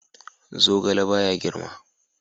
Zogale ba ya girma.